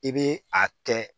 I bɛ a kɛ